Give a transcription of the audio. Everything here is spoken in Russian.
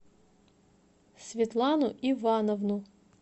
светлану ивановну